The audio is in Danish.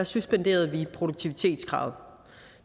suspenderede vi produktivitetskravet